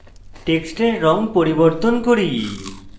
টেক্সটের রঙ পরিবর্তন করি